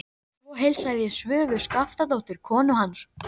Svo heilsaði ég Svövu Skaftadóttur, konu hans.